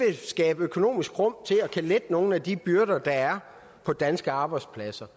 vil skabe økonomisk rum til at kunne lette nogle af de byrder der er på danske arbejdspladser